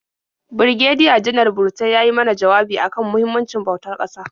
Birigediya-Janar Burutai ya yi mana jawabi a kan muhimmancin bautar ƙasa.